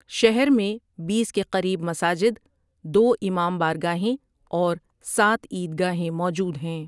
شہر میں بیس کے قریب مساجد، دو امام بارگاہیں اور سات عید گاہیں موجود ہیں ۔